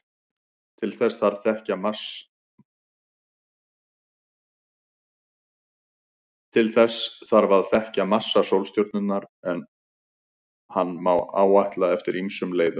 Til þess þarf að þekkja massa sólstjörnunnar, en hann má áætla eftir ýmsum leiðum.